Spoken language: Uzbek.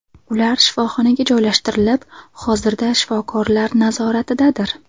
Ular shifoxonaga joylashtirilib, hozirda shifokorlar nazoratidadir.